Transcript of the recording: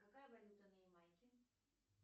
какая валюта на ямайке